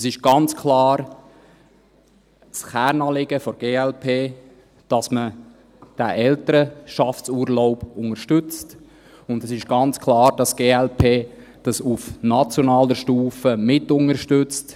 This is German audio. Es ist ganz klar ein Kernanliegen der glp, dass man diesen Elternschaftsurlaub unterstützt, und es ist ganz klar, dass die glp dies auf nationaler Stufe mitunterstützt.